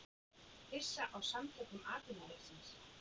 Hissa á Samtökum atvinnulífsins